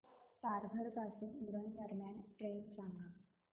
तारघर पासून उरण दरम्यान ट्रेन सांगा